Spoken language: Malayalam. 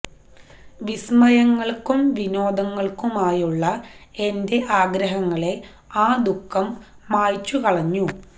വിസ്മയങ്ങൾക്കും വിനോദങ്ങൾക്കുമായുള്ള എന്റെ ആഗ്രഹങ്ങളെ ആ ദുഃഖം മായ്ച്ചു കളഞ്ഞു